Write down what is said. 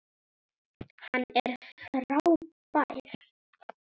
Hann er frábær.